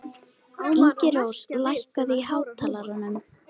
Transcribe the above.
Ingirós, lækkaðu í hátalaranum.